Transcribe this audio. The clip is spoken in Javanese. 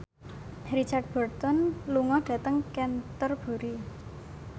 Richard Burton lunga dhateng Canterbury